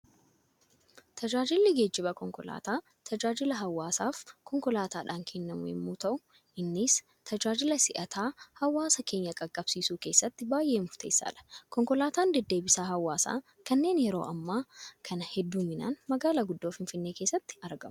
Tajaajilli geejibaa konkolaataa, tajaajila hawaasaaf konkolaataadhaan kennamu yemmuu ta'u, innis tajaajila si'ataa hawaasa keenya qaqqabsiisu keessatti baayyee murteessaadha. Konkolaataan deddeebisa hawaasaa kanneen yeroo ammaa kana hedduminaan magaalaa guddoo Finfinnee keessatti argamu.